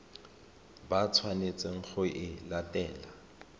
ba tshwanetseng go e latela